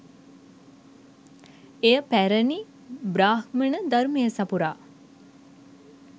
එය පැරැණි බ්‍රාහ්මණ ධර්මය සපුරා